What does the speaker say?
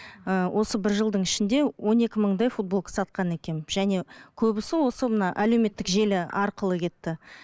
ы осы бір жылдың ішінде он екі мыңдай футболка сатқан екенмін және көбісі осы мына әлеуметтік желі арқылы кетті